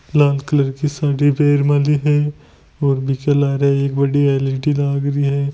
लाल colour कि साड़ी परमेली हैं और विक लारे एक बड़ी एल.इ.डी. लाग री हैं।